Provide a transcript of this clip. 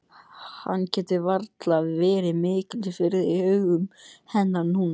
Hann getur varla verið mikils virði í augum hennar núna.